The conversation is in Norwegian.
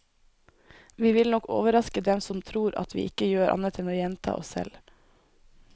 Vi vil nok overraske dem som tror at vi ikke gjør annet enn å gjenta oss selv.